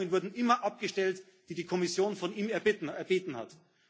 Die Abweichungen wurden immer abgestellt, die die Kommission von ihm erbeten